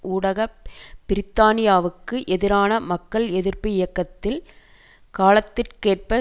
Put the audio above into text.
ஊடாக பிரித்தானியாவுக்கு எதிரான மக்கள் எதிர்ப்பு இயக்கத்தில் காலத்திற்கேற்ப